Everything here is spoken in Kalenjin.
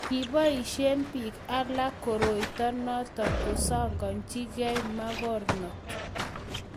kiboisie biik alak koroito noto kosakanjigei mokornot